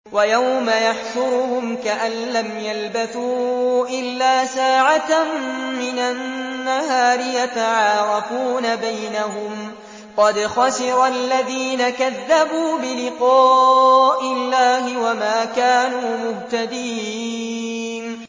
وَيَوْمَ يَحْشُرُهُمْ كَأَن لَّمْ يَلْبَثُوا إِلَّا سَاعَةً مِّنَ النَّهَارِ يَتَعَارَفُونَ بَيْنَهُمْ ۚ قَدْ خَسِرَ الَّذِينَ كَذَّبُوا بِلِقَاءِ اللَّهِ وَمَا كَانُوا مُهْتَدِينَ